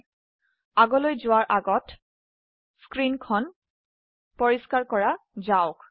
পিছত আলোচনা আগে স্ক্ৰীন পৰিস্কাৰ কৰে নেওয়া যাক